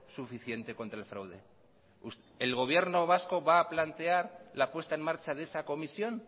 suficiente contra el fraude el gobierno vasco va a plantear la puesta en marcha de esa comisión